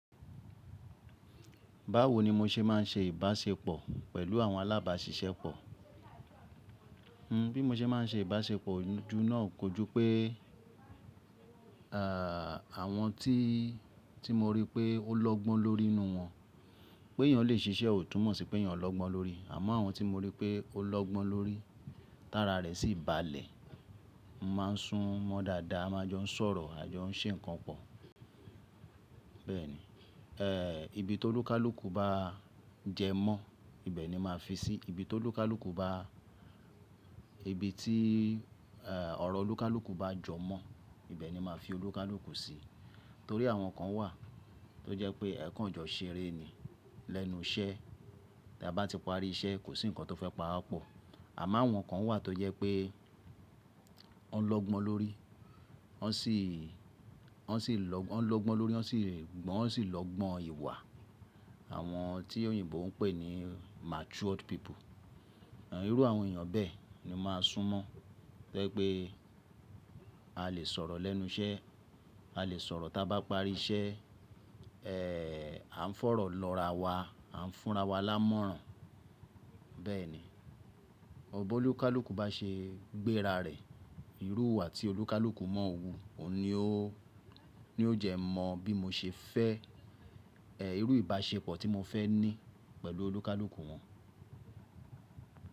Báwo ni mo ṣe má n ṣe ìbáṣepọ̀ pẹ̀lú àwọn alábáṣiṣẹ́pọ̀? Bí mo ṣe má n ṣe ìbáṣepọ̀ ojú náà kojú pé, àwọn tí mo rí pé o lọ́gbọ́n lórí inú wọn pé yíyan lè ṣiṣẹ́ ò túmọ̀ sí pé yíyan o lọ́gbọ́n lórí. Àmọ́ àwọn tí mo rí pé o lọ́gbọ́n lórí, tára rè sí ń balẹ̀, màá sún mọ́ dáadáa, a máa jọ ń sọ̀rọ̀, a jọ ń ṣe nǹkan pọ̀. Bẹ́ẹ̀ ni, ibi tó olúkálúùkù bá jẹ mọ́, ibẹ̀ ni màá fi sí. Ibi tó olúkálúùkù bá-- ibi tí ọ̀rọ̀ olúkálúùkù bá jọ mọ́, ibẹ̀ ni màá fi olúkálúùkù sí. Torí àwọn kan wà tó jẹ́ pé ẹ̀kan jọ ṣeré ni lẹ́nu iṣẹ́, tí a bá ti parí iṣẹ́ kò sí nǹkan tó fẹ́ pa á pọ̀. Àmọ́ àwọn kan wà tó jẹ́ pé wọ́n lọ́gbọ́n lórí, wọ́n sì lọ́gbọ́n lórí, wọ́n sì lọ́gbọ́n ìwà. Àwọn tí òyìnbó ń pè ní matured people. Irú àwọn èèyàn bẹ́ẹ̀ ni màá sún mọ́. To je pé a lè sọ̀rọ̀ lẹ́nu iṣẹ́, a lè sọ̀rọ̀ tí a bá parí iṣẹ́, à ń fọ̀rọ̀ lọra wa, à ń fúnra wa lámọ̀ràn. Bẹ́ẹ̀ ni, ọ̀bọ olúkálúùkù bá ṣe gbẹ́ra rẹ̀, irú ìwà tí olúkálúùkù mọ́ òwu, òun ni ó jẹ́ mọ bí mo ṣe fẹ́ irú ìbáṣepọ̀ tí mo fẹ́ ní pẹ̀lú olúkálúùkù wọn.